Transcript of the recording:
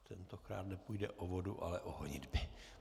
Tentokrát nepůjde o vodu, ale o honitby.